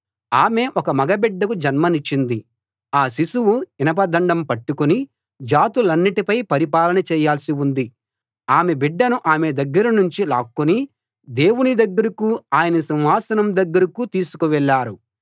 ఆమె ఒక మగ బిడ్డకు జన్మనిచ్చింది ఆ శిశువు ఇనప దండం పట్టుకుని జాతులన్నిటిపై పరిపాలన చేయాల్సి ఉంది ఆమె బిడ్డను ఆమె దగ్గరనుంచి లాక్కుని దేవుని దగ్గరకూ ఆయన సింహాసనం దగ్గరకూ తీసుకు వెళ్ళారు